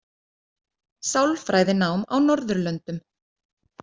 Sálfræðinám á Norðurlöndum.